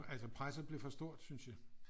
Altså presset blev for stort syntes vi